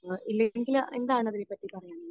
ഇല്ലെങ്കിൽ എന്താണ് അതിനെ പറ്റി പറയാനുള്ളത്?